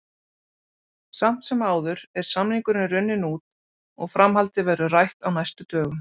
Samt sem áður er samningurinn runninn út og framhaldið verður rætt á næstu dögum.